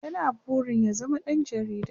ya na burin ya zama ɗan jarida